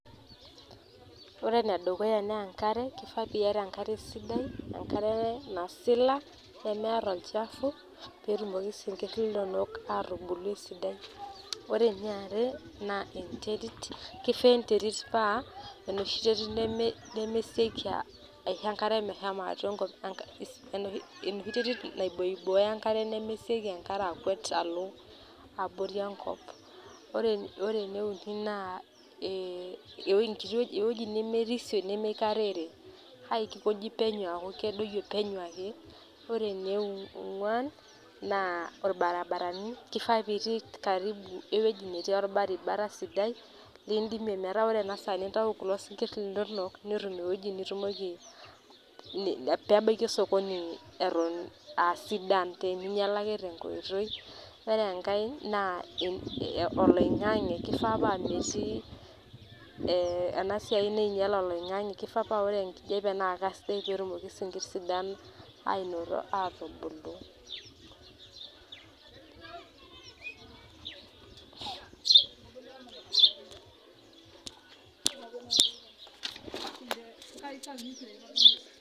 Ore ene dukuya naa enk'are, keifaa piata enk'are sidai. Enk'are nasila nemeeta olchafu, peetumoki isinkirr linonok aatubulu esidai, ore eniare naa enterit, keifaa enterit naa enoshi Teri terit nemesioki aisho enk'are meshomo atwa Enkop enoshi terit naiboyoboyo enk'are nemesioki enk'are akwet alo abori Enkop. Ore ene uni naa ee ewueji nemerisio nemeikarere kake keikoji ajo adoyio penyo kake penyo ake. Ore eniong'uan naa ilbarabarani, keifaa pitii Karibu ewueji netii ilbarabara sidai lidimie metaa ore ena saa nintayu kulo sinkir linonok netum ewueji nitumoki, pe pebaiki osokoni Eton aa sidan pee minyiala ake tenkoitoi. Ore enkae naa oloing'ang'e keifaa naa metii enaa siai nainyial oloing'ang'e keifaa naa ore enkijiape naa kesidai peetumoki esinkirr sidan aanoto aatubulu.